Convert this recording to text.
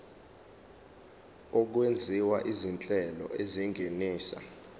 okwenziwa izinhlelo ezingenisa